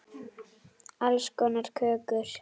Alls konar kökur.